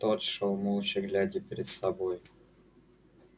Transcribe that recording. тот шёл молча глядя перед собой